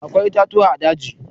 Akwai itatuwa a daji.